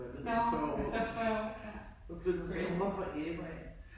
Nå, efter 40 år ja. Crazy